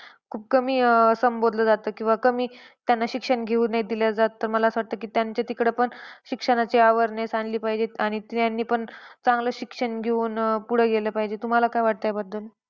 खूप कमी अं संबोधलं जातं किंवा कमी त्यांना शिक्षण घेऊ न दिलं जात. तर मला असं वाटतं की त्यांच्या तिकडं पण शिक्षणाचे awareness आणली पाहिजेत. आणि स्त्रियांनी पण चांगलं शिक्षण घेऊन अह पुढं गेलं पाहिजे. तुम्हला काय वाटतं याबद्दल?